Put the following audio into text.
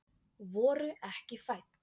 Voru ekki fædd